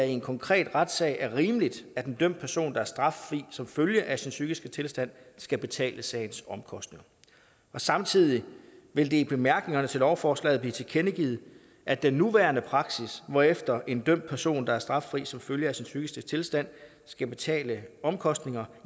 i en konkret retssag er rimeligt at en dømt person der er straffri som følge af sin psykiske tilstand skal betale sagens omkostninger samtidig vil det i bemærkningerne til lovforslaget blive tilkendegivet at den nuværende praksis hvorefter en dømt person der er straffri som følge af sin psykiske tilstand skal betale omkostninger